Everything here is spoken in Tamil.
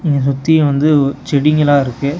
இங்க சுத்தி வந்து ஒ செடிங்களா இருக்கு.